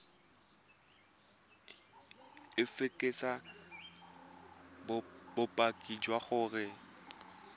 o fekese bopaki jwa gore